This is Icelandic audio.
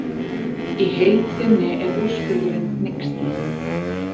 Í heild sinni er úrskurðurinn hneyksli